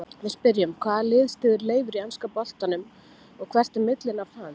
Við spyrjum: Hvaða lið styður Leifur í enska boltanum og hvert er millinafn hans?